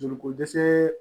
Joli ko dɛsɛ